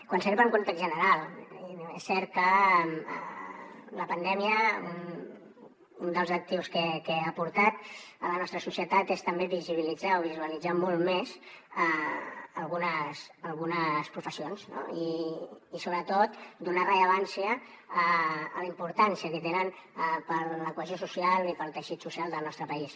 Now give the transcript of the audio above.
quan s’arriba a un context general és cert que la pandèmia un dels actius que ha aportat a la nostra societat és també visibilitzar o visualitzar molt més algunes professions i sobretot donar rellevància a la importància que tenen per a la cohesió social i per al teixit social del nostre país